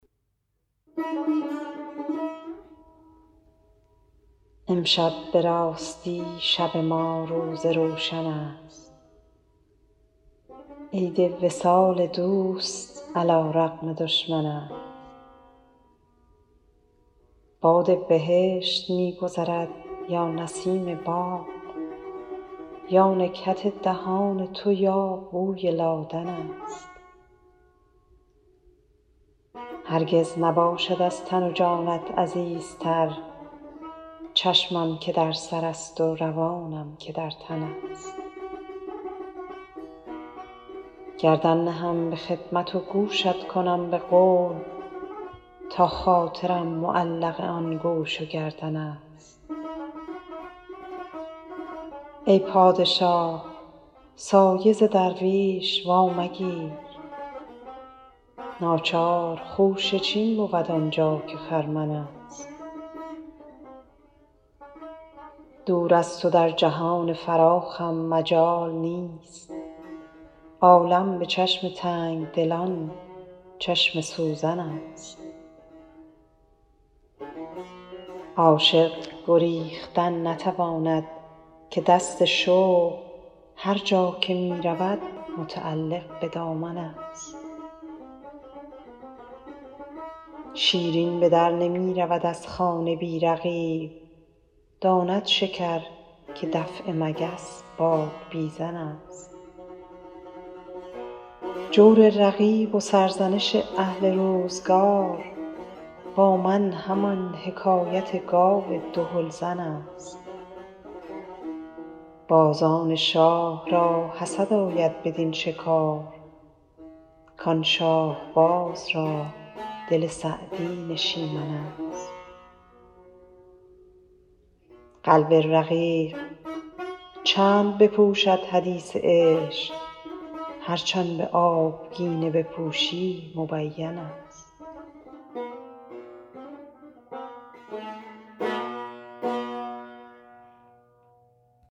امشب به راستی شب ما روز روشن است عید وصال دوست علی رغم دشمن است باد بهشت می گذرد یا نسیم باغ یا نکهت دهان تو یا بوی لادن است هرگز نباشد از تن و جانت عزیزتر چشمم که در سرست و روانم که در تن است گردن نهم به خدمت و گوشت کنم به قول تا خاطرم معلق آن گوش و گردن است ای پادشاه سایه ز درویش وامگیر ناچار خوشه چین بود آن جا که خرمن است دور از تو در جهان فراخم مجال نیست عالم به چشم تنگ دلان چشم سوزن است عاشق گریختن نتواند که دست شوق هر جا که می رود متعلق به دامن است شیرین به در نمی رود از خانه بی رقیب داند شکر که دفع مگس بادبیزن است جور رقیب و سرزنش اهل روزگار با من همان حکایت گاو دهل زن است بازان شاه را حسد آید بدین شکار کان شاهباز را دل سعدی نشیمن است قلب رقیق چند بپوشد حدیث عشق هرچ آن به آبگینه بپوشی مبین است